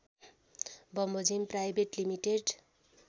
बमोजिम private limited